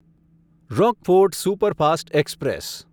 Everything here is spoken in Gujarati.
Rockfort superfast express